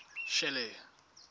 shelly